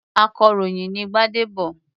Akọ̀ròyìn ni Gbádébọ̀.